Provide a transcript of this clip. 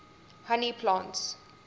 honey plants